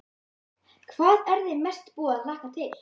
Hödd: Hvað er þig mest búið að hlakka til?